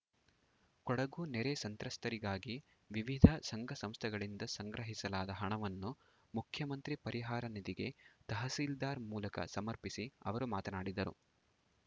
ಕೊಡಗು ನೆರೆ ಸಂತ್ರಸ್ತರಿಗಾಗಿ ವಿವಿಧ ಸಂಘ ಸಂಸ್ಥೆಗಳಿಂದ ಸಂಗ್ರಹಿಸಲಾದ ಹಣವನ್ನು ಮುಖ್ಯಮಂತ್ರಿ ಪರಿಹಾರ ನಿಧಿಗೆ ತಹಸೀಲ್ದಾರ್‌ ಮೂಲಕ ಸಮರ್ಪಿಸಿ ಅವರು ಮಾತನಾಡಿದರು